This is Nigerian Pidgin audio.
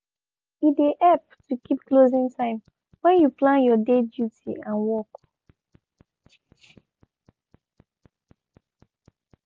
e de help to keep closing time when you plan your day duty and work.